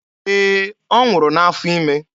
Ee, ọ nwụrụ n'afọ ime.